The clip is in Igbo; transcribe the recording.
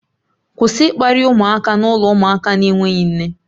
Kwụsị ịkparị ụmụaka n'ụlọ ụmụaka na-enweghị nne